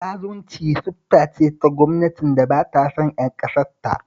Zalunci siffa ce ta gwamnatin da ba ta son ƴan ƙasarta